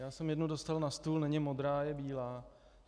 Já jsem jednu dostal na stůl, není modrá, je bílá.